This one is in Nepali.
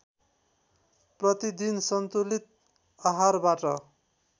प्रतिदिन सन्तुलित आहारबाट